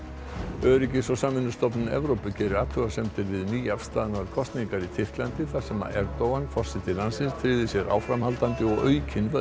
öryggis og samvinnustofnun Evrópu gerir athugasemdir við nýafstaðnar kosningar í Tyrklandi þar sem Erdogan forseti landsins tryggði sér áframhaldandi og aukin völd